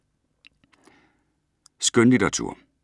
Skønlitteratur